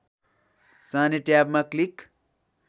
सार्ने ट्याबमा क्लिक